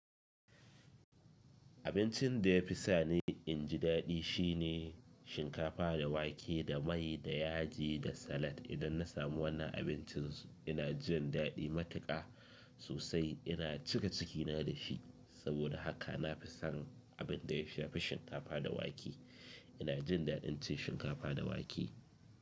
Abincin da ya fi sani in ji daɗi shi ne shinkafa da wake, da mai da yaji da salad. Idan na samu wannan abincin ina jin daɗi matuƙa, sosai. Ina cika cikina da shi. Saboda haka, na fi son abin da ya fi shinkafa da wake. Ina jin daɗin cin shinkafa da wake.